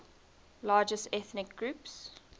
largest ethnic groups